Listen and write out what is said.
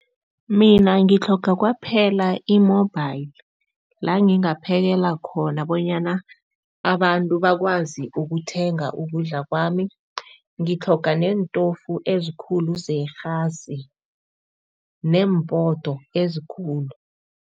Mina ngitlhoga kwaphela i-mobile, la ngingaphekela khona bonyana abantu bakwazi ukuthenga ukudla kwami. Ngitlhoga neentofu ezikhulu zerhasi neempoto ezikhulu.